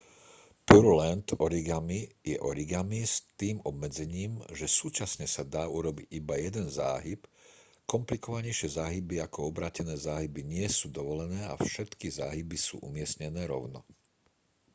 pureland origami je origami s tým obmedzením že súčasne sa dá urobiť iba jeden záhyb komplikovanejšie záhyby ako obrátené záhyby nie sú dovolené a všetky záhyby sú umiestnené rovno